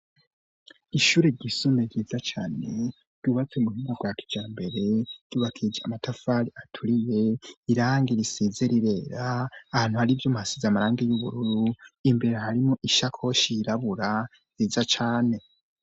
Ishure ryisumbuye ryiza cane ryubatse mu ina rwakicara mbere yubakij amatafari aturiye irangi risize rirera ahantu aribyo masize amaranga y'ubururu imbere harimo ishakoshi irabura yiza cane.